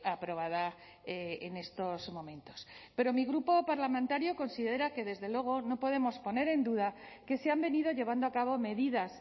aprobada en estos momentos pero mi grupo parlamentario considera que desde luego no podemos poner en duda que se han venido llevando a cabo medidas